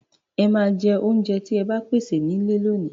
Ẹ ma jẹ oúnjẹ tí a pèsè nílé lóòní.